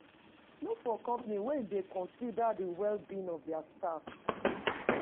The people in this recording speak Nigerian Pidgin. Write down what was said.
Look for company wey dey consider the well being of their staff